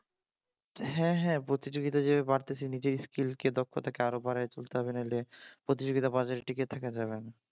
হ্যাঁ হ্যাঁ প্রতিযোগিতা যে বাড়তেছে নিজের স্কিলকে দক্ষ থাকে আরো বাড়াই তুলতে হবে না হলে প্রতিযোগিতা বাজারে টিকে থাকা যাবে না